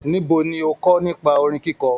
Níbo ni o kọ nípa orin kikọ?